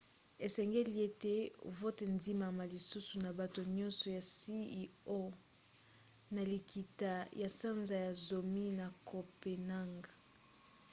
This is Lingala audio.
esengeli ete vote endimama lisusu na bato nyonso ya cio na likita ya sanza ya zomi na copenhague